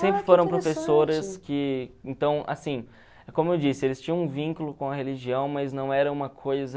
Sempre foram professoras que, então, assim, como eu disse, eles tinham um vínculo com a religião, mas não era uma coisa...